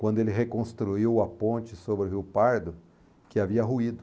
quando ele reconstruiu a ponte sobre o rio Pardo, que havia ruído.